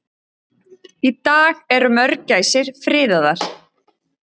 Í dag eru mörgæsir friðaðar.